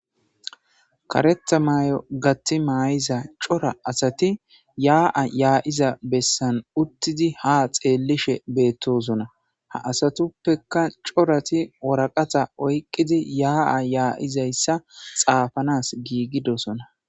karetha may7o gatti maay7iza cora asati yaa7a yaa7iza bessan uttidi ha xeellishe beettosona ha asatuppeka corati woraqata oyqqidi yaa7a yaa7izayssa xaafanas giigidosona